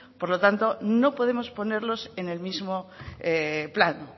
por lo tanto no podemos ponerlos en el mismo plano